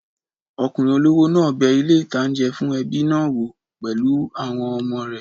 Ọkùnrin olówó náà bẹ ilé-ìtánjẹ fún ẹbí náà wò pẹ̀lú àwọn ọmọ rẹ̀